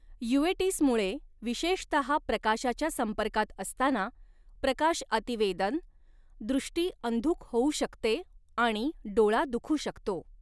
युवेटिसमुळे विशेषतहा प्रकाशाच्या संपर्कात असताना, प्रकाशअतिवेदन दृष्टी अंधुक होऊ शकते आणि डोळा दुखू शकतो.